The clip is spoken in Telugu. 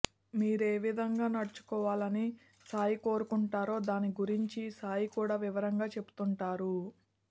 మీరేవిధంగా నడచుకోవాలని సాయి కోరుకుంటారో దానిని గురించి సాయి కూడ వివరంగా చెబుతుంటారు